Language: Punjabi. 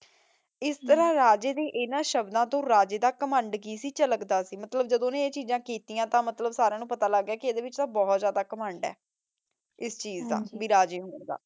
ਏਸ ਤਰਹ ਰਾਜੇ ਦੇ ਇਨਾਂ ਸ਼ਬਦਾਂ ਤੋਂ ਰਾਜੇ ਦਾ ਕੀ ਘਮੰਡ ਝਲਕਦਾ ਸੀ ਮਤਲਬ ਜਦੋਂ ਓਨੇ ਇਹ ਚੀਜ਼ਾਂ ਕਿਤਿਯਾਂ ਤੇ ਮਤਲਬ ਸਾਰਾ ਤਨੁ ਪਤਾ ਲਾਗ ਗਯਾ ਕੇ ਏਡੇ ਵਿਚ ਤਾਂ ਬੋਹਤ ਜਿਆਦਾ ਘਮੰਡ ਯਾ ਏਸ ਚੀਜ਼ ਦਾਭਾਈ ਰਾਜੇ ਹੋਣ ਦਾ